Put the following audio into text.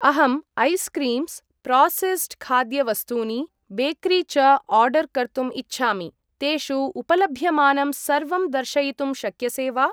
अहं ice creams , processed खाद्यवस्तूनि , bakery च आर्डर् कर्तुम् इच्छामि, तेषु उपलभ्यमानं सर्वं दर्शयितुं शक्यसे वा?